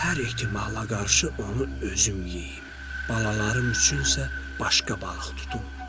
Hər ehtimalla qarşı onu özüm yeyim, balalarım üçün isə başqa balıq tutum.